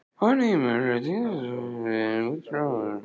nýir möguleikar týndir stúlkan enn í öskustó stígur engan dansinn